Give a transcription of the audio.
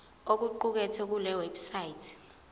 okuqukethwe kule website